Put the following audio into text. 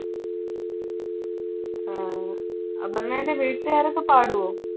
ആഹ് അപർണയുടെ വീട്ടുകാരൊക്കെ പാടുവോ?